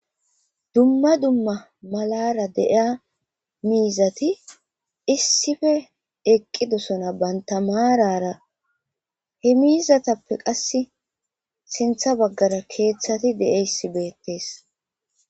Dumma dumma malara deiya miizati issife eqqidosona bantamaarara he miizatappe qasse sintha baggara keeththati de7eyssi beettees.